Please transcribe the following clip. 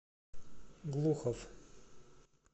глухов